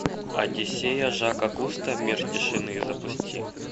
одиссея жака кусто мир тишины запусти